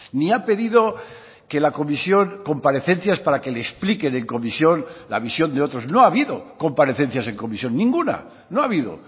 ni ha pedido que la comisión comparecencias para que le expliquen en comisión la visión de otros no ha habido comparecencias en comisión ninguna no ha habido